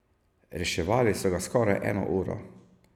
Reševali so ga skoraj eno uro.